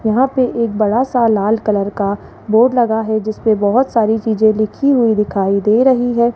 यहां पे एक बड़ा सा लाल कलर का बोर्ड लगा है जिसपे बहोत सारी चीजें लिखी हुई दिखाई दे रही है।